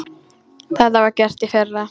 Það var gert í fyrra.